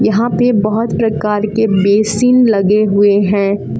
यहां पे बहोत प्रकार के बेसिन लगे हुए हैं।